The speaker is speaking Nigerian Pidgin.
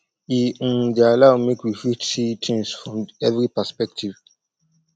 e um dey allow make we fit see things from every perspective